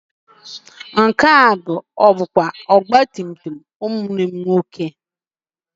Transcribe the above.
Nke ahụ ọ bụ ọgbatumtum ụmụnne gị nwoke?